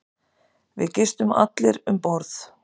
Við gistum allir um borð.